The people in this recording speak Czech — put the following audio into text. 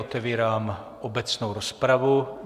Otevírám obecnou rozpravu.